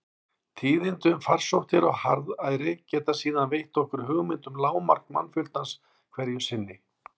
Tíðindi um farsóttir og harðæri geta síðan veitt okkur hugmynd um lágmark mannfjöldans hverju sinni.